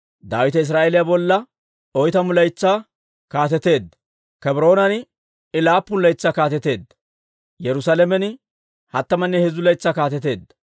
Daawite Israa'eeliyaa bolla oytamu laytsaa kaateteedda; Kebroonan I laappun laytsaa kaateteedda; Yerusaalamen hattamanne heezzu laytsaa kaateteedda.